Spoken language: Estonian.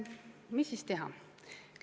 Mida siis teha?